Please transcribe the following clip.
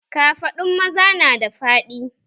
Kafaɗun maza nada faɗi